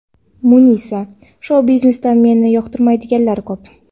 Munisa :– Shou-biznesda meni yoqtirmaydiganlar ko‘p.